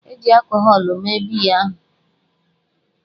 E ji akọhọlụ mee biya ahụ.